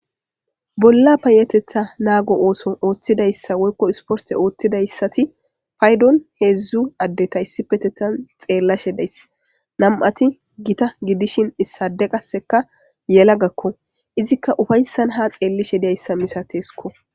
Bolla payateta nago ootho woyko sporte othidaysat paydon 3 addera issippe xelashe de'ays. 2 Gita adeta gidishn issay gelagako izika qase ufaysan ha xelishe dizaysa misatesko.